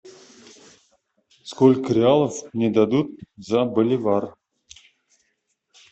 сколько реалов мне дадут за боливар